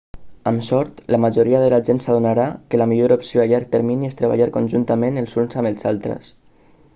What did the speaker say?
amb sort la majoria de la gent s'adonarà que la millor opció a llarg termini és treballar conjuntament els uns amb els altres